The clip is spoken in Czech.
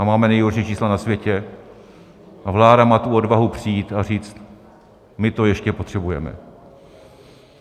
A máme nejhorší čísla na světě a vláda má tu odvahu přijít a říct: My to ještě potřebujeme.